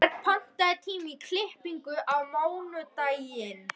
Auðberg, pantaðu tíma í klippingu á mánudaginn.